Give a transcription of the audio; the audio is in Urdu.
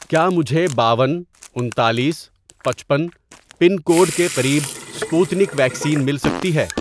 کیا مجھے باون، انتالیس، پچپن، پن کوڈ کے قریب سپوتنک ویکسین مل سکتی ہے